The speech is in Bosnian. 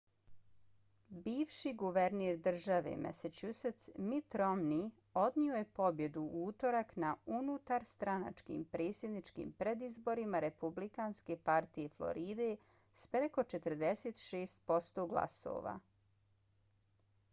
bivši guverner države massachusetts mitt romney odnio je pobjedu u utorak na unutarstranačkim predsjedničkim predizborima republikanske partije floride s preko 46 posto glasova